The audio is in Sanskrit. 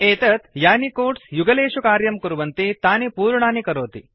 एतत् यानि कोड्स् युगलेषु कार्यं कुर्वन्ति तानि पूर्णानि करोति